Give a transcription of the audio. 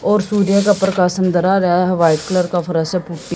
और सूर्य का प्रकाश अंदर आ रहा है। वाइट कलर का फर्श है।